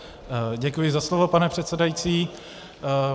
Děkuji za slovo, pane předsedající.